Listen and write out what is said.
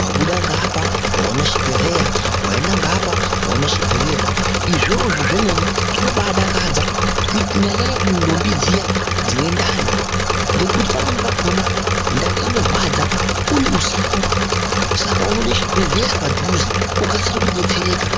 Wabuda ngeapa waona chibhedhleya waenda ngeapa waone chibhedhleya izvozvo zvemene zvinoba dakadza nyanyanyanya kuntombi dziya dzinendani ngokuti pamweni pakona ndani inorwadza uri usiku saka unode chibhedhleya padhuze ukasire kubetsereka